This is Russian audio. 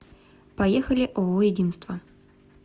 поехали ооо единство